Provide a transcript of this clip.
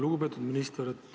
Lugupeetud minister!